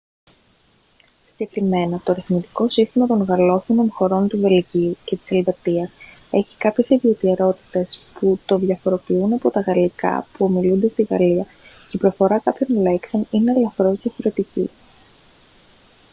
συγκεκριμένα το αριθμητικό σύστημα των γαλλόφωνων χωρών του βελγίου και της ελβετίας έχει κάποιες ιδιαιτερότητες που το διαφοροποιούν από τα γαλλικά που ομιλούνται στη γαλλία και η προφορά κάποιων λέξεων είναι ελαφρώς διαφορετική